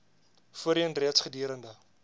voorheen reeds gedurende